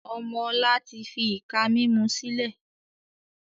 Ọmọ ọ̀la tí fi ìka mímú sílẹ̀